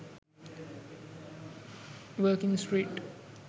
working street